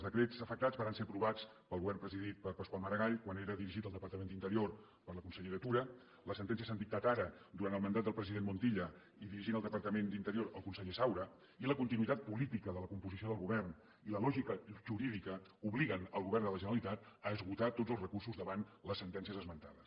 els decrets afectats varen ser aprovats pel govern presidit per pasqual maragall quan era dirigit el departament d’interior per la consellera tura les sentències s’han dictat ara durant el mandat del president montilla i dirigint el departament d’interior el conseller saura i la continuïtat política de la composició del govern i la lògica jurídica obliguen el govern de la generalitat a esgotar tots els recursos davant les sentències esmentades